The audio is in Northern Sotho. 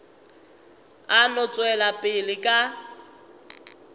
a no tšwela pele ka